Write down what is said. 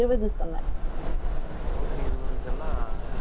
நூத்தி இருபதுக்கு எல்லாம் நம்ம தாததா காலதுல தான் இருக்கும்